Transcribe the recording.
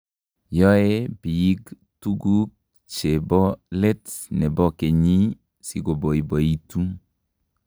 Yoe biik tuku che bo letne bo kenyii si koboiboitu,